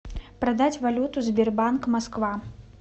продать валюту сбербанк москва